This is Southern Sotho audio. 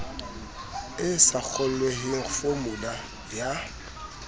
e sa kgolweheng fomula ya